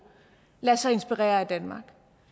lader sig inspirere af danmark